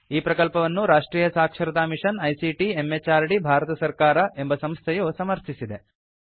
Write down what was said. ಈ ಪ್ರಕಲ್ಪವನ್ನು ರಾಷ್ಟ್ರಿಯ ಸಾಕ್ಷರತಾ ಮಿಷನ್ ಐಸಿಟಿ ಎಂಎಚಆರ್ಡಿ ಭಾರತ ಸರ್ಕಾರ ಎಂಬ ಸಂಸ್ಥೆಯು ಸಮರ್ಥಿಸಿದೆ